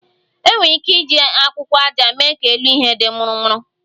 E nwere ike iji akwụkwọ aja mee ka elu ihe di murumuru